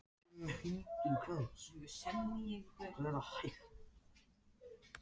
Ég skildi ekkert hvað þeir voru að segja.